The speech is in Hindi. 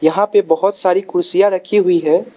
यहां पे बहोत सारी कुर्सियां रखी हुई है।